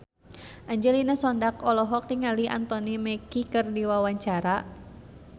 Angelina Sondakh olohok ningali Anthony Mackie keur diwawancara